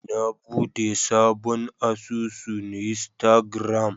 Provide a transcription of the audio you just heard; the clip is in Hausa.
Na bude sabon asusun Instagram.